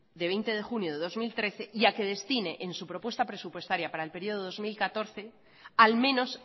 de veinte de junio de dos mil trece ya que destine en su propuesta presupuestaria para el periodo de dos mil catorce al menos